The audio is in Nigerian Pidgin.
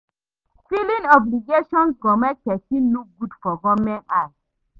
Filing obligations go make pesin look good for government eye